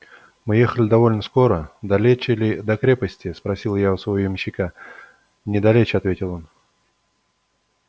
мы ехали довольно скоро далече ли до крепости спросил я у своего ямщика недалече ответил он